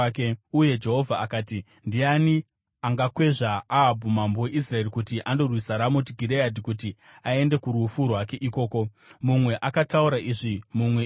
Uye Jehovha akati, ‘Ndiani angakwezva Ahabhu mambo weIsraeri kuti andorwisa Ramoti Gireadhi kuti aende kurufu rwake ikoko?’ “Mumwe akataura izvi, mumwe izvo.